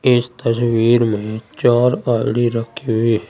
इस तस्वीर में चार आई_डी रखी हुई है।